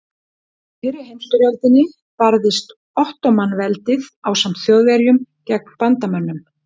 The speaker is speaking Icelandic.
Í fyrri heimstyrjöldinni barðist Ottóman-veldið ásamt Þjóðverjum gegn bandamönnum.